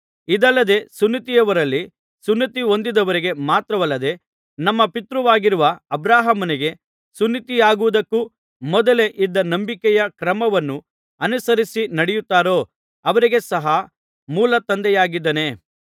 ಇದಲ್ಲದೆ ಸುನ್ನತಿಯವರಲ್ಲಿ ಸುನ್ನತಿಹೊಂದಿದ್ದವರಿಗೆ ಮಾತ್ರವಲ್ಲದೆ ನಮ್ಮ ಪಿತೃವಾಗಿರುವ ಅಬ್ರಹಾಮನಿಗೆ ಸುನ್ನತಿಯಾಗುವುದಕ್ಕೂ ಮೊದಲೇ ಇದ್ದ ನಂಬಿಕೆಯ ಕ್ರಮವನ್ನು ಅನುಸರಿಸಿ ನಡೆಯುತ್ತಾರೋ ಅವರಿಗೆ ಸಹ ಮೂಲ ತಂದೆಯಾಗಿದ್ದಾನೆ